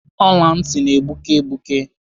Ọla ntị na-egbuke egbuke.